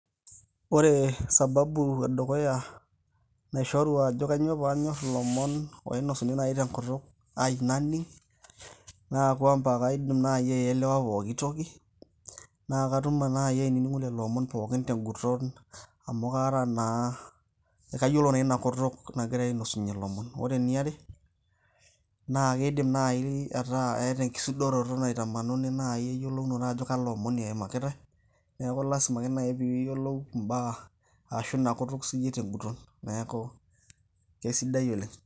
Ore sababu edukuya, naishoru ajo kanyioo panyorr ilomon oinosuni nai tenkutuk ai naning',naa kwamba kaidim nai aielewa pooki toki. Na katum nai ainining'o lelo omon pookin teguton amu kara naa kayiolo na inakutuk nagirai ainosunyie lomon. Ore eniare, na kidim nai ataa etaa enkisudoroto naitamanuni nai yiolounoto ajo kalo omoni eimakitae, neeku lasima ake nai piyiolou imbaa ashu inakutuk siyie teguton. Neeku kesidai oleng'.